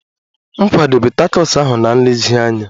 M kwadebe takos ahu na nlezianya